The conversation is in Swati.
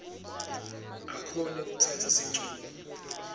akhone kutsatsa sincumo